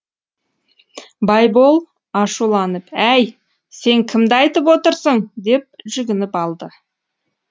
байбол ашуланып әй сен кімді айтып отырсың деп жүгініп алды